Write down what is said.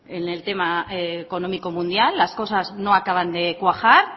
en el tema económico mundial las cosas no acaban de cuajar